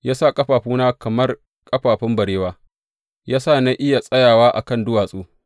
Ya sa ƙafafuna kamar ƙafafun barewa; ya sa na iya tsayawa a kan duwatsu.